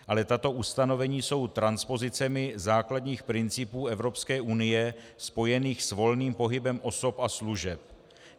Ale tato ustanovení jsou transpozicemi základních principů Evropské unie spojených s volným pohybem osob a služeb.